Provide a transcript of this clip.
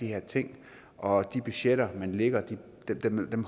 her ting og de budgetter man lægger